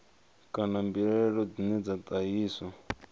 kana mbilaelo dzine dza ṱahiswa